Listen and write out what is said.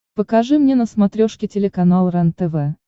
покажи мне на смотрешке телеканал рентв